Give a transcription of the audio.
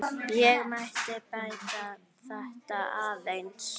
Ég mætti bæta þetta aðeins.